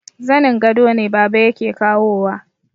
Zanin gado ne baba yake kawowa